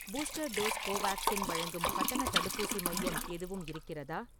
Booster dose Covaxin வழங்கும் கட்டணத் தடுப்பூசி மையம் எதுவும் இருக்கிறதா?